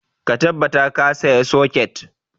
Ka tabbata ka saya socket!